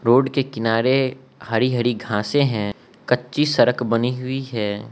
Road के किनारे हरि हरि घासे हैं कच्ची सड़क बनी हुई है।